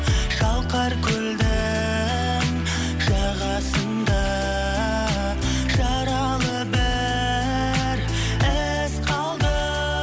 шалқар көлдің жағасында жаралы бір із қалды